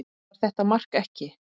Var þetta mark eða ekki?